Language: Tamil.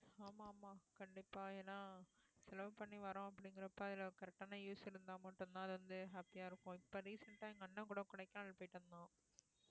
ஆமா ஆமாம்மா கண்டிப்பா ஏன்னா செலவு பண்ணி வர்றோம் அப்படிங்கிறப்ப அதுல correct ஆன use இருந்தா மட்டும்தான் வந்து happy ஆ இருக்கும் இப்ப recent ஆ எங்க அண்ணன் கூட கொடைக்கானல் போயிட்டு வந்தோம்